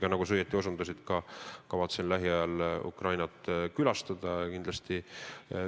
Ja nagu sa õigesti osutasid, ma kavatsen lähiajal Ukrainat kindlasti külastada.